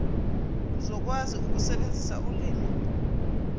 uzokwazi ukusebenzisa ulimi